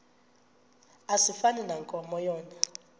asifani nankomo yona